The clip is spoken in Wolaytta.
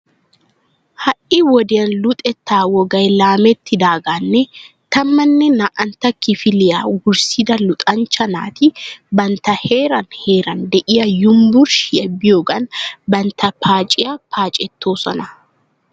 Ha'i wodiyan luxettaa wogay laamettidaagan tammanne naa'antta kifiliyaa wurssida luxanchcha naati bantta heeran heeran de'iyaa yumbburshshyaa biyoogan bantta paaciyaa paaccettoosona.